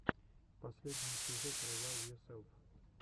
последний эпизод ревайвйоселф